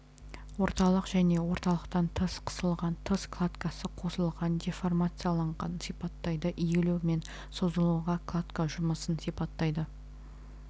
орталық және орталықтан тыс қысылған тыс кладкасы қысылған деформациялағанды сипаттайды иілу мен созылуға кладка жұмысын сипаттайды